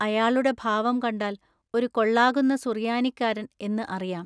അയാളുടെ ഭാവം കണ്ടാൽ ഒരു കൊള്ളാകുന്ന സുറിയാനിക്കാരൻ എന്നു അറിയാം.